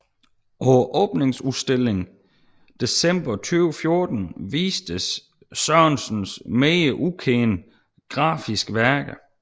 På åbningsudstillingen december 2014 vistes Sørensens mere ukendte grafiske værker